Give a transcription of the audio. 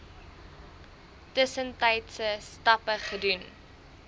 tussentydse stappe gedoen